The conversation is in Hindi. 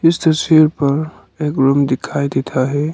इस तस्वीर पर एक रूम दिखाई देता है।